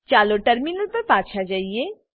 ચાલો ટર્મિનલ પર પાછા જઈએ